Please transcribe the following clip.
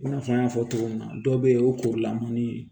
I n'a fɔ n y'a fɔ cogo min na dɔw bɛ yen o kuru la man di